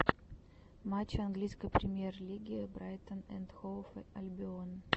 матчи английской премьер лиги брайтон энд хоув альбион